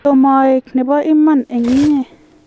tomo aek nebo iman eng' inye